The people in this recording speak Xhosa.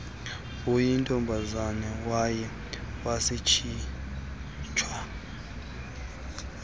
uyintombazana waye watshiswa